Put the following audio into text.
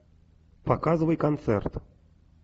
показывай концерт